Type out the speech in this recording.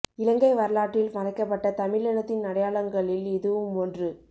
இலங்கை வரலாற்றில் மறைக்கப்பட்ட தமிழினத்தின் அடையாளங்களில் இதுவும் ஒன்று